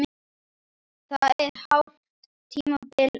Það er hálft tímabil eftir!